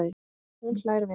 Hún hlær við.